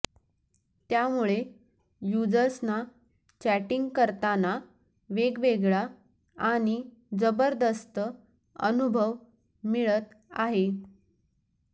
त्यामुळे युजर्संना चॅटिंग करताना वेगवेगळा आणि जबरदस्त अनुभव मिळत आहे